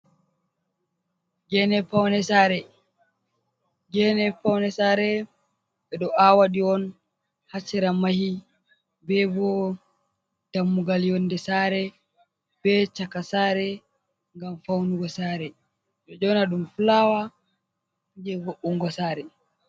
Geene paune saare ɓe ɗo aawaɗi on ha sera mahi be bo dammugal yonde saare be chaka sare ngam faunugo sare, ɓe ɗo yona ɗum fulawa jei vo’ungo saare.